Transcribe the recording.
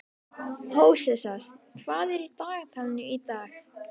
Hóseas, hvað er í dagatalinu í dag?